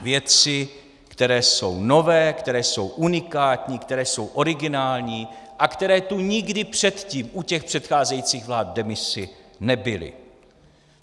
věci, které jsou nové, které jsou unikátní, které jsou originální a které tu nikdy předtím u těch předcházejících vlád v demisi nebyly.